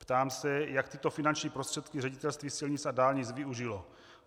Ptám se, jak tyto finanční prostředky Ředitelství silnic a dálnic využilo.